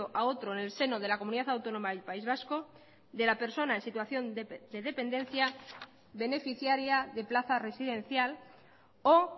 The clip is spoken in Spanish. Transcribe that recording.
a otro en el seno de la comunidad autónoma del país vasco de la persona en situación de dependencia beneficiaria de plaza residencial o